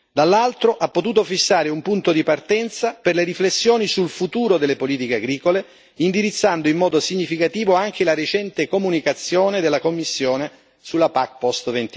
dall'altro, ha potuto fissare un punto di partenza per le riflessioni sul futuro delle politiche agricole, indirizzando in modo significativo anche la recente comunicazione della Commissione sulla PAC post